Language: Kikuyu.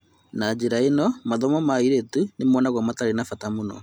Na njĩra ĩno, mathomo ma airĩtu nĩmonagũo matarĩ bata mũno.